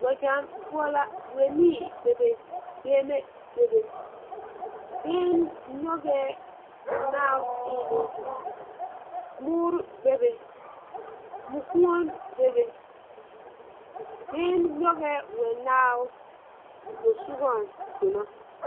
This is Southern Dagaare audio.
Wԑgyԑŋ poͻ la, wԑnii beebe, gbeŋime bebe. Gbeŋini nyͻgԑԑ mͻnaao eelԑԑ. Mõõre bebe, mokuoni bebe. Gbeŋini nyͻgԑԑ mͻnaao posogͻŋ donͻ.